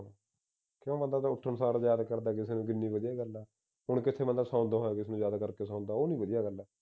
ਕਿਉ ਬੰਦੇ ਦੇ ਉੱਠਣ ਸਾਰ ਜਿਆਦਾਤਾਰ ਕਿੰਨੀ ਵਧੀਆ ਗੱਲ ਆ ਹੁਣ ਕਿਥੇ ਬੰਦਾ ਸੌਂਦੇਂ ਹੋਏ ਕਿਸੇ ਨੂੰ ਯਾਦ ਕਰਕੇ ਸੌਦਾ ਉਹ ਨੀ ਵਧੀਆ ਗੱਲ ਆ